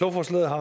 lovforslaget har